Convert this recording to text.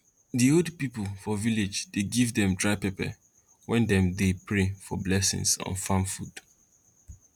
di old pipo for village dey give dem dry pepper wen dem dey pray for blessings on farm food